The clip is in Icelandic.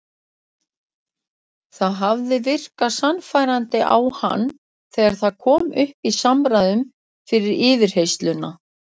Það hafði virkað sannfærandi á hann þegar það kom upp í samræðum fyrir yfirheyrsluna.